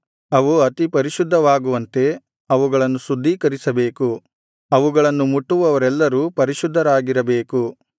ಅವು ಅತಿ ಪರಿಶುದ್ಧವಾಗುವಂತೆ ಅವುಗಳನ್ನು ಶುದ್ಧೀಕರಿಸಬೇಕು ಅವುಗಳನ್ನು ಮುಟ್ಟುವವರೆಲ್ಲರೂ ಪರಿಶುದ್ಧರಾಗಿರಬೇಕು